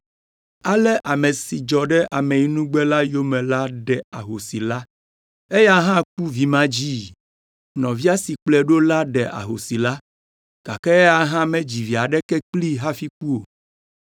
Ale ame si dzɔ ɖe ameyinugbe la yome la ɖe ahosi la. Eya hã ku vimadzii. Nɔvia si kplɔe ɖo la ɖe ahosi la, gake eya hã medzi vi aɖeke kplii hafi ku o.